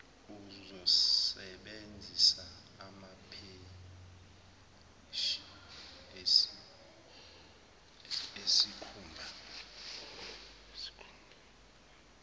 uzosebenzisa amapheshi esikhumba